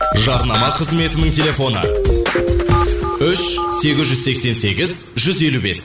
жарнама қызметінің телефоны үш сегіз жүз сексен сегіз жүз елу бес